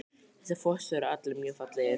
Þessir fossar eru allir mjög fallegir.